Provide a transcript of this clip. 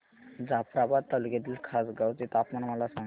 जाफ्राबाद तालुक्यातील खासगांव चे तापमान मला सांग